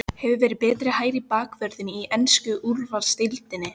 Hefur verið betri hægri bakvörður í ensku úrvalsdeildinni?